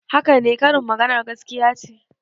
Haka ne, karin maganar gaskiya ce.